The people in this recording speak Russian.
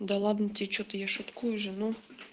да ладно тебе что-то я шуткую же ну